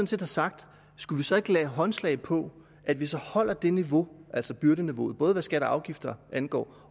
set har sagt skal vi så ikke give håndslag på at vi så holder det niveau altså byrdeniveauet både hvad skatter og afgifter angår